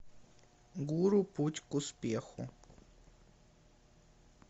гуру путь к успеху